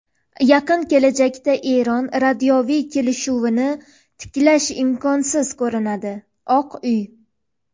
Yaqin kelajakda Eron yadroviy kelishuvini tiklash imkonsiz ko‘rinadi – Oq uy.